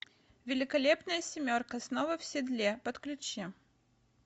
великолепная семерка снова в седле подключи